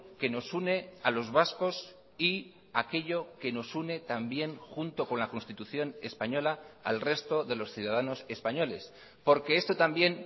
que nos une a los vascos y aquello que nos une también junto con la constitución española al resto de los ciudadanos españoles porque esto también